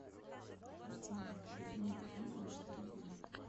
афина верни видео на середину